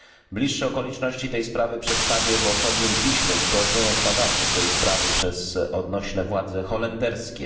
Bliższe okoliczności tej sprawy przedstawię w osobnym piśmie z prośbą o zbadanie jej przez odnośne władze holenderskie.